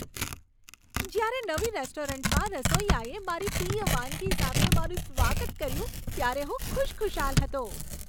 જ્યારે નવી રેસ્ટોરન્ટમાં રસોઈયાએ મારી પ્રિય વાનગી સાથે મારું સ્વાગત કર્યું ત્યારે હું ખુશખુશાલ હતો.